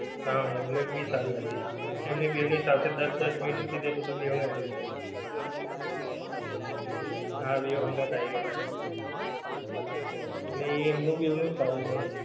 હા એમની ભી સારી હતી એમની બેયની સાથે દસ દસ મિનિટનું કીધેલું કે બેયનો આવી જાય હા બે હંગાથ આવી ગયેલા એટલે એમનું ભી એમનું સારું છે.